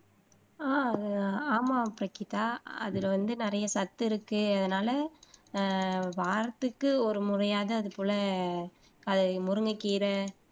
ஆஹ் ஆமாம் பிரகிதா அதுல வந்து நிறைய சத்து இருக்கு அதனால ஆஹ் வாரத்துக்கு ஒரு முறையாவது அது போல அதை முருங்கைக்கீரை